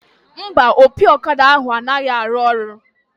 Mba, opi ọkada ahụ anaghị arụ ọrụ